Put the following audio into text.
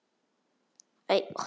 Ég gríp hana.